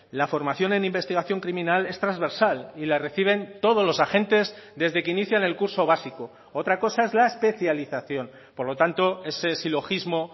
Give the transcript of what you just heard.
la formación en investigación criminal es transversal y la reciben todos los agentes desde que inician el curso básico otra cosa es la especialización por lo tanto ese silogismo